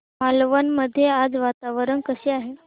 मालवण मध्ये आज वातावरण कसे आहे